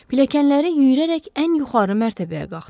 Pilləkənləri yüyürərək ən yuxarı mərtəbəyə qalxdı.